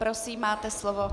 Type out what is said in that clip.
Prosím, máte slovo.